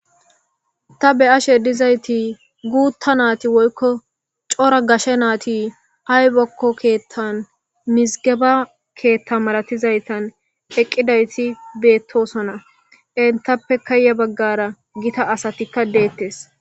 Ta be ashe dizayti guutta naati woykko cora gashe naati haybakko keettan mizigeba keetta malatizaytan eqqidayti beettosona entappe kaaya baggara gita asatikka deettes.